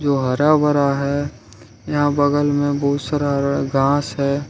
जो हरा भरा है यहां बगल में बहुत सारा घास है।